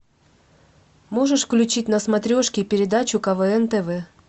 можешь включить на смотрешке передачу квн тв